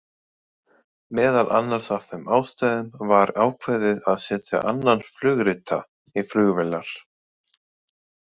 Meðal annars af þeim ástæðum var ákveðið að setja annan flugrita í flugvélar.